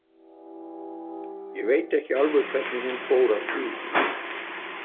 Ég veit ekki alveg hvernig hún fór að því.